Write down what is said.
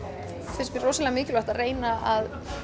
finnst mér ofboðslega mikilvægt að reyna að